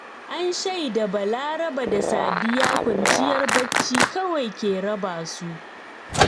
An shaida Balaraba da Sadiya kwanciyar bacci kawai ke raba su